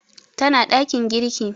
Tana ɗakin girki